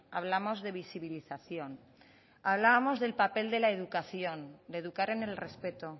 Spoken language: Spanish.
hablamos de visibilización hablamos del papel de la educación de educar en el respeto